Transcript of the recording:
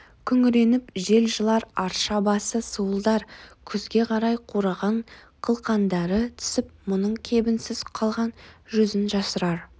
күңіреніп жел жылар арша басы суылдар күзге қарай қураған қылқандары түсіп мұның кебінсіз қалған жүзін жасырар